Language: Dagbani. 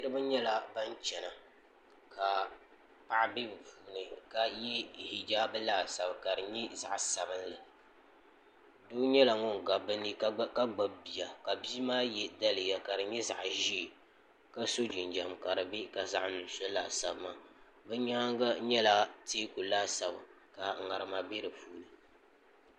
niraba nyɛla ban chɛna ka paɣa bɛ ni puuni ka yɛ hijaabi laasabu ka di nyɛ zaɣ sabinli doo nyɛla ŋun gabi bi ni ka gbubi bia bia maa yɛ daliya ka di nyɛ zaɣ ƶiɛ ka so jinjɛm ka di bɛ ka zaɣ nuɣso laasabu maa bi nyaangi nyɛla teeku laasabu ka ŋarima bɛ di puuni